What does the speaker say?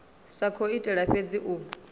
sa khou itela fhedzi u